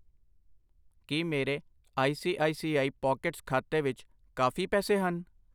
ਕਿ ਮੇਰੇ I C I C I pockets ਖਾਤੇ ਵਿੱਚ ਕਾਫ਼ੀ ਪੈਸੇ ਹਨ ?